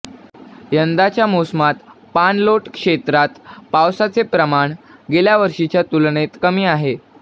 यंदाच्या मोसमात पाणलोट क्षेत्रात पावसाचे प्रमाण गेल्यावर्षीच्या तुलनेत कमी आहे